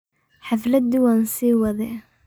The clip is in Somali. Xafladi wan siiwadhe.